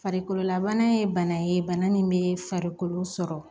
Farikololabana ye bana ye bana min bɛ farikolo sɔrɔ